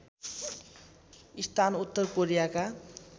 स्थान उत्तर कोरियाका